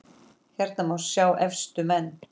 Hérna má sjá efstu menn